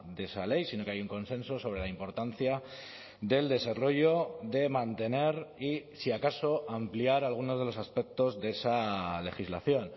de esa ley sino que hay un consenso sobre la importancia del desarrollo de mantener y si acaso ampliar algunos de los aspectos de esa legislación